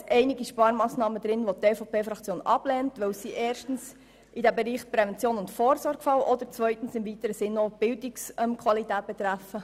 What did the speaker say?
Es sind einige Sparmassnahmen dabei, welche die EVP-Fraktion ablehnt, weil sie erstens zum Bereich Prävention und Vorsorge gehören, oder zweitens im weiteren Sinn die Bildungsqualität betreffen.